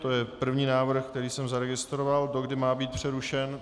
To je první návrh, který jsem zaregistroval, dokdy má být přerušen.